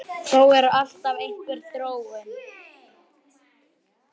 Þó er alltaf einhver þróun.